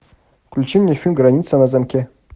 включи мне фильм граница на замке